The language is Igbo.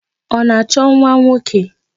Ọ na-achọ nwanwoke?